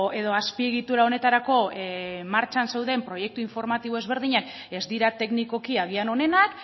edo azpiegitura honetarako martxan zeuden proiektu informatibo ezberdinak ez dira teknikoki agian onenak